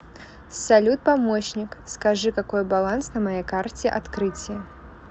салют помощник скажи какой баланс на моей карте открытие